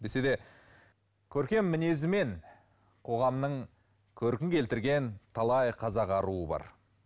десе де көркем мінезімен қоғамның көркін келтірген талай қазақ аруы бар